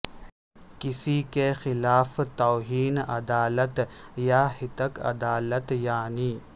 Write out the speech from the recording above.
کسی کے خلاف توہین عدالت یا ہتک عدالت یعنی